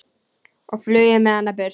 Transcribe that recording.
og flúði með hana burt.